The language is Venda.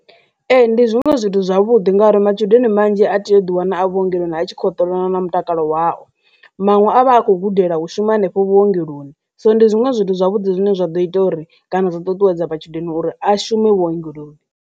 Ee, ndi zwinwe zwithu zwavhuḓi ngauri matshudeni manzhi a tea u ḓi wana a vhuongeloni a tshi kho hoṱola na mutakalo wao, manwe a vha a kho gudela u shuma henefho vhuongeloni so ndi zwinwe zwithu zwavhuḓi zwine zwa ḓo ita uri kana zwa ṱuṱuwedza matshudeni uri a shume vhuongeloni.